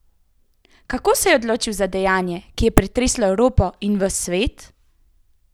Kako se je odločil za dejanje, ki je pretreslo Evropo in ves svet?